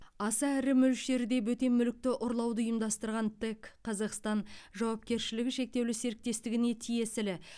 аса ірі мөлшерде бөтен мүлікті ұрлауды ұйымдастырған тэк қазақстан жауапкершілігі шектеулі серіктестігіне тиесілі